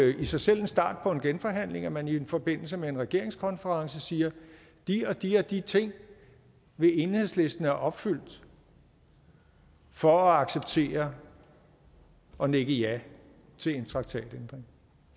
i sig selv en start på en genforhandling at man i forbindelse med en regeringskonference siger at de og de og de ting vil enhedslisten have opfyldt for at acceptere og nikke ja til en traktatændring